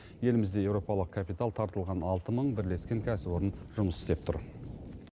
елімізде еуропалық капитал тартылған алты мың бірлескен кәсіпорын жұмыс істеп тұр